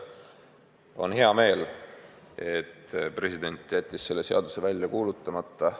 On hea meel, et president jättis selle seaduse välja kuulutamata.